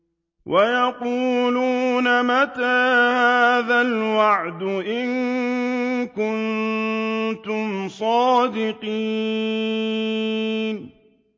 وَيَقُولُونَ مَتَىٰ هَٰذَا الْوَعْدُ إِن كُنتُمْ صَادِقِينَ